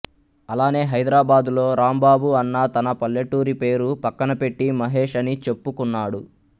అలానే హైదరాబాద్ లో రాంబాబు అన్న తన పల్లెటూరి పేరు పక్కనపెట్టి మహేష్ అని చెప్పుకున్నాడు